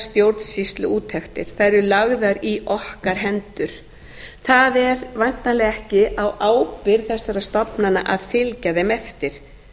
stjórnsýsluúttektir þær eru lagðar í okkar hendur það er væntanlega ekki á ábyrgð þessara stofnana að fylgja þeim eftir